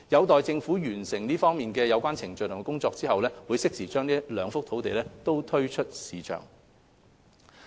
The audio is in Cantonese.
待政府完成有關程序及工作後，會適時把該兩幅用地推出市場。